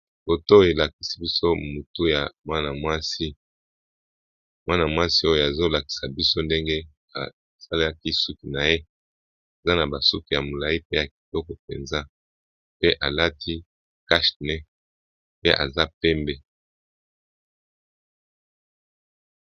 boto elakisi biso motu ya mwana mwasi mwana mwasi oyo azolakisa biso ndenge asalaki suki na ye eza na basuki ya molai pe ya kitoko mpenza pe alati cashne pe aza pembe